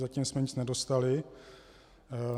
Zatím jsme nic nedostali.